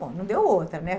Bom, não deu outra, né?